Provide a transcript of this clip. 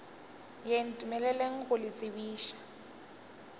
ye ntumeleleng go le tsebiša